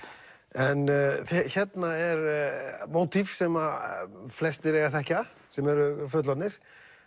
en hérna er mótív sem flestir eiga að þekkja sem eru fullorðnir